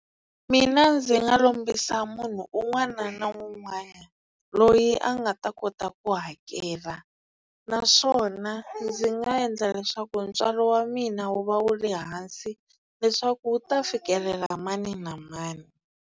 Mina ndzi nga lombisa munhu un'wana na un'wana loyi a nga ta kota ku hakela naswona ndzi nga endla leswaku ntswalo wa mina wu va wu le hansi leswaku wu ta fikelela mani na mani.